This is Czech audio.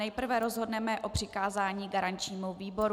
Nejprve rozhodneme o přikázání garančnímu výboru.